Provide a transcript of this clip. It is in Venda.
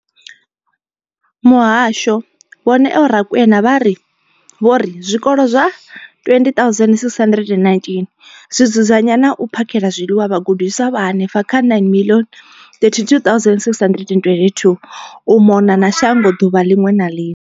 Muhasho, Vho Neo Rakwena, vha ri, vho ri zwikolo zwa 20 619 zwi dzudzanya na u phakhela zwiḽiwa vhagudiswa vha henefha kha 9 032 622 u mona na shango ḓuvha ḽiṅwe na ḽiṅwe.